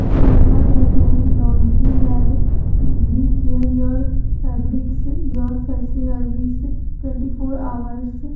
इसमें लिखा गया है laundry lab we care your fabrics your fabrics twenty four hours.